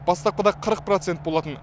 бастапқыда қырық процент болатын